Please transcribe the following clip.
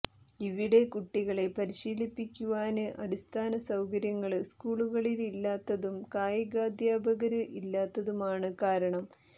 ഇവിടെ കുട്ടികളെ പരിശീലിപ്പിക്കുവാന് അടിസ്ഥാന സൌകര്യങ്ങള് സ്കൂളുകളില് ഇല്ലാത്തതും കായികാധ്യാപകര് ഇല്ലാത്തതുമാണ് കാരണം